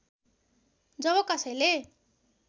जब कसैले